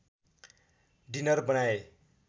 dinner बनाए